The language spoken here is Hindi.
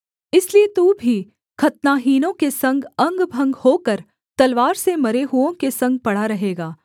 इसलिए तू भी खतनाहीनों के संग अंगभंग होकर तलवार से मरे हुओं के संग पड़ा रहेगा